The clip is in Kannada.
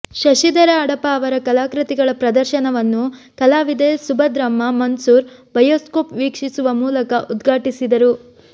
ಶಶಿಧರ ಅಡಪ ಅವರ ಕಲಾಕೃತಿಗಳ ಪ್ರದರ್ಶನವನ್ನು ಕಲಾವಿದೆ ಸುಭದ್ರಮ್ಮ ಮನ್ಸೂರ್ ಬಯೋಸ್ಕೋಪ್ ವೀಕ್ಷಿಸುವ ಮೂಲಕ ಉದ್ಘಾಟಿಸಿದರು